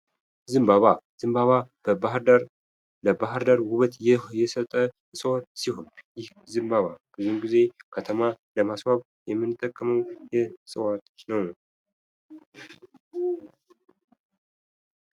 ዘንባባ፤ ዘንባባ ለባህርዳር ውበት የሰጠ ሲሆን ይህ ዘንባባ ብዙ ጊዜ ከተማ ለማስዋ የምንጠቀመው የእዋት አይነት ነው።